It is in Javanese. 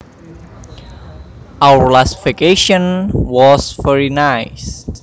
Our last vacation was very nice